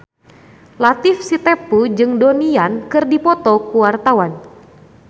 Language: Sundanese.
Latief Sitepu jeung Donnie Yan keur dipoto ku wartawan